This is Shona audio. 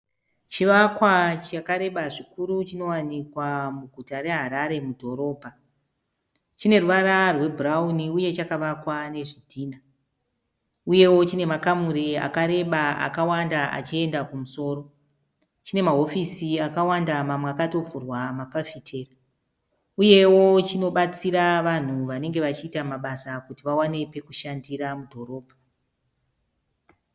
Chivakwa chakareba zvikuru chinowanikwa muguta reHarare mudhorobha. Chine ruvara rweburauni uye chakavakwa nezvidhinha uyewo chine makamuri akareba akawanda achiyenda kumusoro chine mahofisi akawanda mamwe akatovhurwa mafafitera uyewo chinobatsira vanhu vanenge vachiita mabasa kuti vawanewo pekushandira mudhorobha.